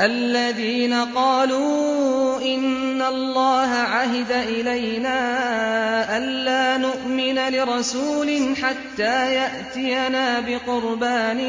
الَّذِينَ قَالُوا إِنَّ اللَّهَ عَهِدَ إِلَيْنَا أَلَّا نُؤْمِنَ لِرَسُولٍ حَتَّىٰ يَأْتِيَنَا بِقُرْبَانٍ